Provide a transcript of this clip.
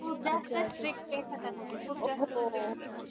खूप जास्त strict आहे सटाणाच. खूप जास्त strict आहे.